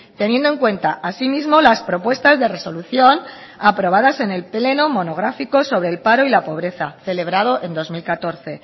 teniendo en cuenta asimismo las propuestas de resolución aprobadas en el pleno monográfico sobre el paro y la pobreza celebrado en dos mil catorce